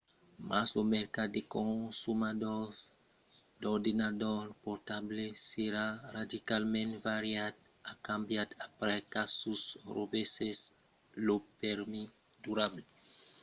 mas lo mercat de consomadors d'ordenadors portables serà radicalament variat e cambiat aprèp qu'asus recebèsse lo prèmi durable de taiwan 2007 del yuan executiu de la republica de china